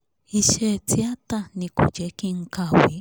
iṣẹ́ tíátà ni kò jẹ́ kí n kàwé